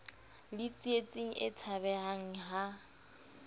le tsietsing e tshabehang ha